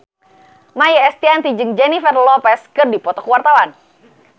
Maia Estianty jeung Jennifer Lopez keur dipoto ku wartawan